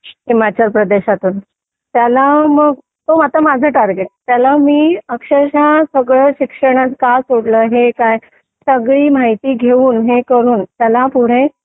हिमाचल प्रदेशातून त्याला मग तो आता माझं टार्गेट आहे त्याला मी अक्षरशः सगळं शिक्षणाचं का सोडलं हे काय सगळी माहिती घेऊन हे करून त्याला पुढे